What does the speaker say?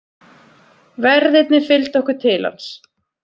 Verðirnir fylgdu okkur til hans.